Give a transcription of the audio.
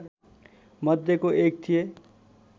मध्येको एक थिए